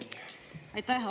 Aitäh!